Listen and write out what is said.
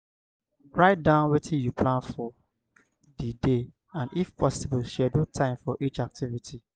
write down wetin you plan for di day and if possible schedule time for each activity